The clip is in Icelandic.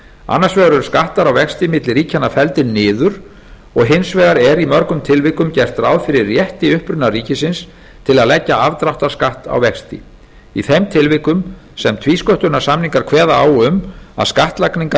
annars vegar eru skattar á vexti milli ríkjanna felldir niður og hins vegar er í mörgum tilvikum gert ráð fyrir rétti upprunaríkisins til að leggja afdráttarskatt á vexti í þeim tilvikum sem tvísköttunarsamningar kveða á um að skattlagningarréttur